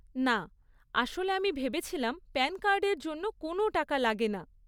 না, আসলে আমি ভেবেছিলাম প্যান কার্ডের জন্য কোনও টাকা লাগে না।